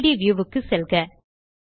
3ட் வியூ க்கு செல்க